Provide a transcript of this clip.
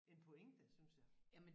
En pointe synes jeg